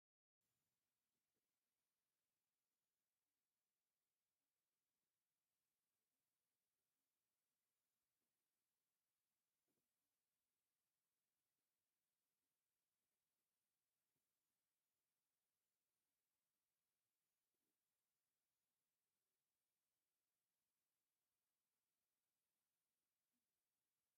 ብዙሓት ሰባት ኣብ መሬት ተንበርኪኾም ኣእዳዎም ንላዕሊ ገይሮም ይረኣዩ። ብዙሕ ህዝቢ ውን ኣብ ቅድሚት ይረአ ኣሎ፡፡ ናይ ሓሳብን ናይ ጭንቀትን ኩነታት ከምዝኾነ ይሕብር፣ ጥፍኣተኛታት ክኾኑ ይኽእሉ እዮም፡፡ ግን ዓበይቲ ሰባት ክንብርከኩስ ዋእ!...የሕዝን እዩ...